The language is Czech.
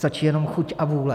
Stačí jenom chuť a vůle.